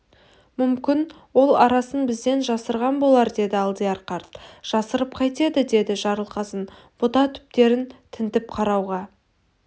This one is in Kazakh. мүмкін ол арасын бізден жасырған болар деді алдияр қарт жасырып қайтеді деді жарылқасын бұта түптерін тінтіп қарауға